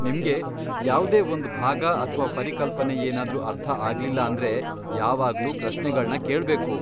ನಿಮ್ಗೆ ಯಾವ್ದೇ ಒಂದ್ ಭಾಗ ಅಥ್ವಾ ಪರಿಕಲ್ಪನೆ ಏನಾದ್ರೂ ಅರ್ಥ ಆಗ್ಲಿಲ್ಲ ಅಂದ್ರೆ ಯಾವಾಗ್ಲೂ ಪ್ರಶ್ನೆಗಳ್ನ ಕೇಳ್ಬೇಕು.